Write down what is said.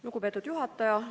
Lugupeetud juhataja!